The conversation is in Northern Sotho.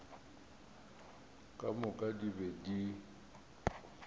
ka moka di be di